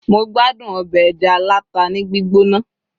mo gbádùn obe eja alata ni gbigbona